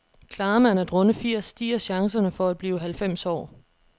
Klarer man at runde firs, stiger chancerne for at blive halvfems år.